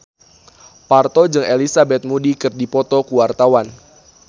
Parto jeung Elizabeth Moody keur dipoto ku wartawan